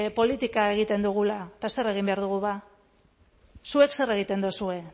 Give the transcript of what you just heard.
politika egiten dugula eta zer egin behar dugu ba zuek zer egiten duzue